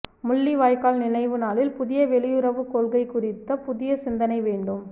முள்ளிவாய்க்கால் நினைவு நாளில் புதிய வெளியுறவுக் கொள்கை குறித்த புதிய சிந்தனை வேண்டும்